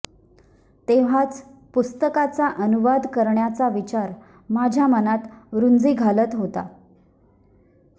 तेव्हाच पुस्तकाचा अनुवाद करण्याचा विचार माझ्या मनात रुंजी घालत होता